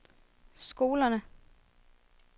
skolerne